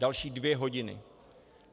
Další dvě hodiny.